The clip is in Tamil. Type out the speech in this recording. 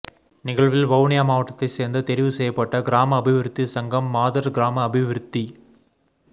நிகழ்வில் வவுனியா மாவட்டத்தை சேர்ந்த தெரிவு செய்யப்பட்ட கிராம அபிவிருத்தி சங்கம் மாதர் கிராம அபிவிருத்தி